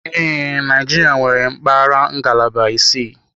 Ee, Naijiria nwere mpaghara ngalaba isii.